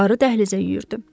Qarı dəhlizə yüyürdü.